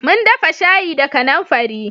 Mun dafa shayi da kanamfari